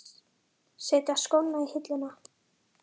Setja skóna á hilluna?